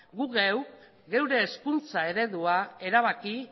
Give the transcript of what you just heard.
guk geuk geure hezkuntza eredua erabaki